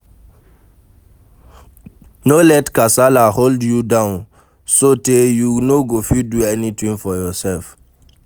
No let kasala hold you down sotey you no go fit do anything for yourself